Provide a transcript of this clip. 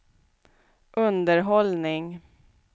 underhållning